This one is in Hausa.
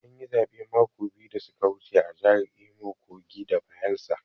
An yi zaɓe mako biyu da su ka wuce a jahar Imo, Kogi da Bayelsa.